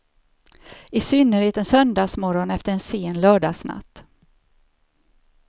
I synnerhet en söndagsmorgon efter en sen lördagsnatt.